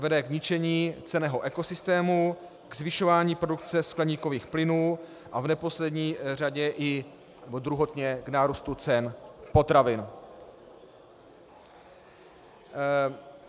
Vede k ničení cenného ekosystému, k zvyšování produkce skleníkových plynů a v neposlední řadě i druhotně k nárůstu cen potravin.